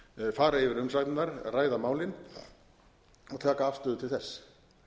fara yfir umsagnirnar ræða málin og taka afstöðu til þess